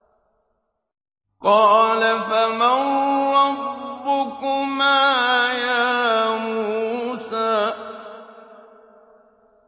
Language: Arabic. قَالَ فَمَن رَّبُّكُمَا يَا مُوسَىٰ